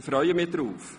Ich freue mich darauf.